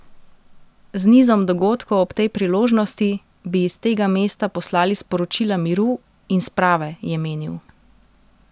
Z nizom dogodkov ob tej priložnosti bi iz tega mesta poslali sporočila miru in sprave, je menil.